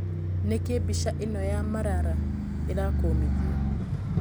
Nĩ kĩ mbica ĩ no ya Marara ĩ rakũmithio?